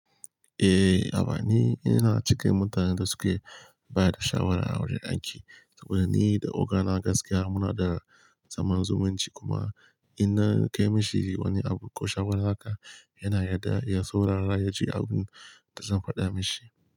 Eh, amma ni ina cikin mutanen da suke ba da shawara a wurin aiki saboda ni da ogana na gaskiya muna da zaman zumunci kuma ina kai mishi wani abu ko shawara haka, yana yarda ya saurara ya ji abin da zan faɗa mishi.